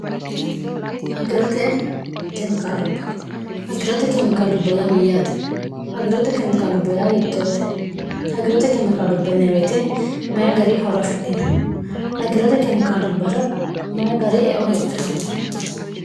giroagirote kemikaalubba yaa mayyaate agirote kemikaalubbaya hiittoote agirote kemikaalub bneweete mayi gari horo afidhino agirote kemikaalubbara mayi gari eo heedhanno